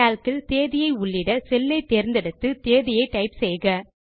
Calc இல் தேதியை உள்ளிட செல் ஐ தேர்ந்தெடுத்து தேதியை டைப் செய்க